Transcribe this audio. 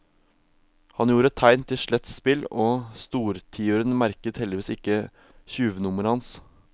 Han gjorde tegn til slett spill og stortiuren merket heldigvis ikke tjuvnummeret hans.